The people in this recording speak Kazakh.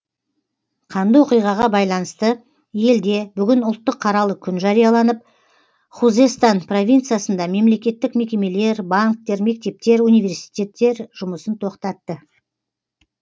қанды оқиғаға байланысты елде бүгін ұлттық қаралы күн жарияланып хузестан провинциясында мемлекеттік мекемелер банктер мектептер университеттер жұмысын тоқтатты